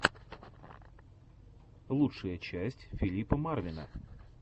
лучшая часть филипа марвина